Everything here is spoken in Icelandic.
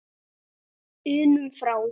unum frá.